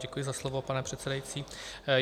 Děkuji za slovo, pane předsedající.